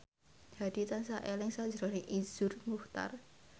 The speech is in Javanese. Hadi tansah eling sakjroning Iszur Muchtar